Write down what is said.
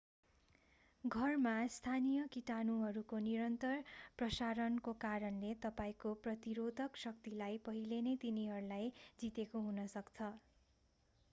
घरमा स्थानीय कीटाणुहरूको निरन्तर प्रशारणको कारणले तपाईंको प्रतिरोधक शक्तिले पहिलेनै तिनीहरूलाई जितेका हुन्छन्